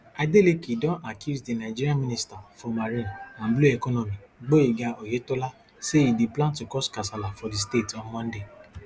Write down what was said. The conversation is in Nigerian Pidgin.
adeleke don accuse di nigeria minister for marine and blue economy gboyega oyetola say e dey plan to cause kasala for di state on monday